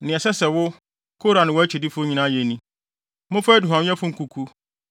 Nea ɛsɛ sɛ wo, Kora ne wʼakyidifo nyinaa yɛ ni: Momfa aduhuamyɛfo nkuku